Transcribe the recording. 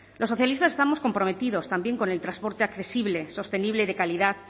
los socialistas estamos comprometidos también con el transporte accesible sostenible y de calidad